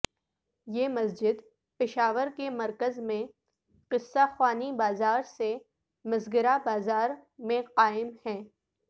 یہ مسجد پشاور کے مرکز میں قصہ خوانی بازار سے مسگراں بازار میں قائم ہے